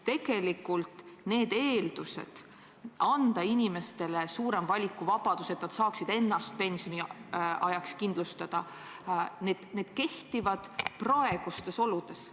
Need argumendid, et anda inimestele suurem valikuvabadus, et nad saaksid ennast pensioniajaks kindlustada, kehtivad ehk praegustes oludes.